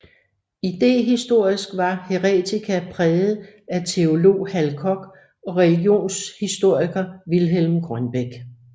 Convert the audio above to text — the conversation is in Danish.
Idehistorisk var Heretica præget af teolog Hal Koch og religionshistoriker Vilhelm Grønbech